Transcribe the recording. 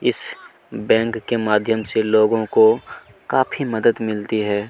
इस बैंक के माध्यम से लोगों को काफी मदद मिलती है।